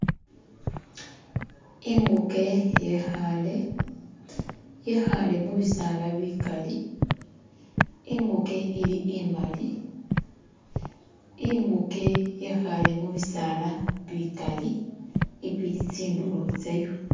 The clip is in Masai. inguke yekhale yekhale mubisala bikaali inguke ili imali inguke yekhale mubisaala bikali ibili tsindulo tsayo